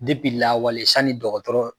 lawale sanni dɔgɔtɔrɔ